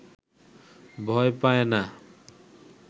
ভয় পায় না